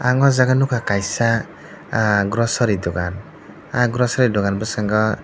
aw jaaga nugkha kaisa ah grocery dokan aw grocery dokan bwskango.